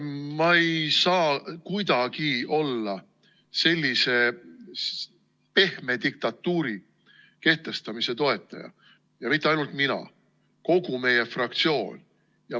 Ma ei saa kuidagi olla sellise pehme diktatuuri kehtestamise toetaja, ja mitte ainult mina, vaid kogu meie fraktsioon.